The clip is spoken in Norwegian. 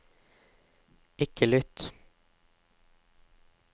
ikke lytt